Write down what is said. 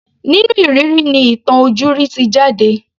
Nínú ìrírí ni ìtàn ojúrí ti jáde.